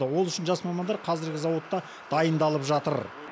ол үшін жас мамандар қазіргі зауытта дайындалып жатыр